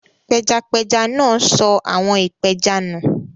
Pẹjapẹja náà sọ àwọ̀n ìpẹja nù.